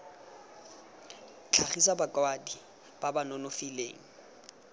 tlhagisa bakwadi ba ba nonofileng